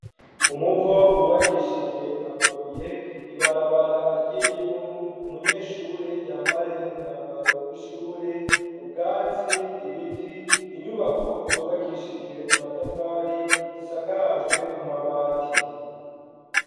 Umuvo wubakishijwe amabuye ibarabara ry'ivu , umunyeshure yambaye umwambaro wishure .ubwatsi, Ibiti, inyubako , zubakishijwe amatafari asakajwe amabati.